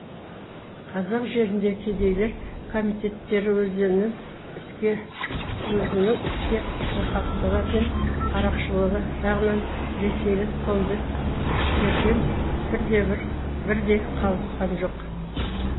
қазақ жеріндегі кедейлер комитеттері өзінің іске шорқақтығы мен қарақшылығы жағынан ресейлік комбедтерден бір де бір қалысқан жоқ